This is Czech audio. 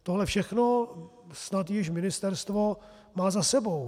Tohle všechno snad již ministerstvo má za sebou.